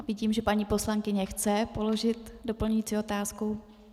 A vidím, že paní poslankyně chce položit doplňující otázku.